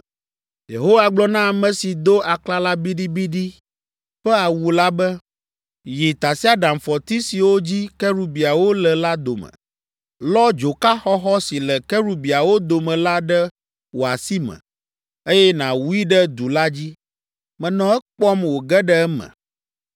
Yehowa gblɔ na ame si do aklala biɖibiɖi ƒe awu la be, “Yi tasiaɖamfɔti siwo dzi kerubiawo le la dome. Lɔ dzoka xɔxɔ si le kerubiawo dome la ɖe wò asi me, eye nàwui ɖe du la dzi.” Menɔ ekpɔm wòge ɖe eme.